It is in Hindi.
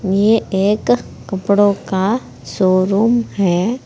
ये एक कपड़ों का शोरूम है।